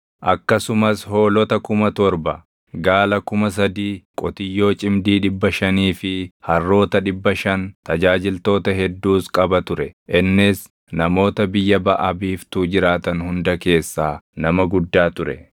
akkasumas hoolota kuma torba, gaala kuma sadii, qotiyyoo cimdii dhibba shanii fi harroota dhibba shan, tajaajiltoota hedduus qaba ture; innis namoota biyya Baʼa Biiftuu jiraatan hunda keessaa nama guddaa ture.